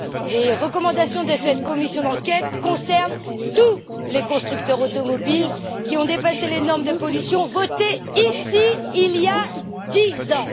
Les recommandations de cette commission d'enquête concernent tous les constructeurs automobiles qui ont dépassé les normes de pollution votées ici il y a dix ans.